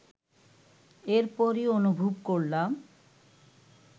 এরপরই অনুভব করলাম